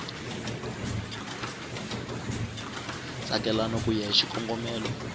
tsakelaka ku ya hi xikombelo